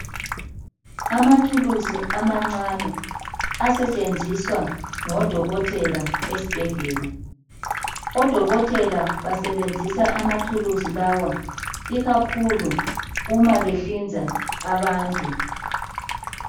Amathulusi amancane asetshenziswa ngodokotela esibhedlela. Odokotela basebenzisa amathulusi lawa ikakhulu uma behlinza abantu.